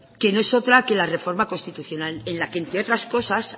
que no es otra que la reforma constitucional en la que entre otras cosas